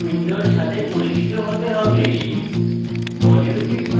jmol application window সাথে পরিচিত হতে হবে